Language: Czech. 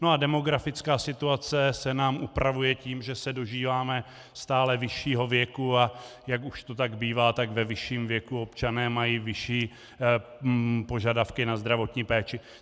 No a demografická situace se nám upravuje tím, že se dožíváme stále vyššího věku, a jak už to tak bývá, tak ve vyšším věku občané mají vyšší požadavky na zdravotní péči.